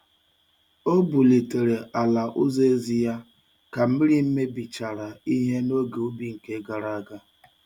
O bulitere ala ulo ezi ya ka mmiri mebichara ihe n'oge ubi nke gara aga.